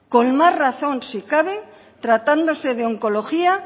con más razón si cabe tratándose de oncología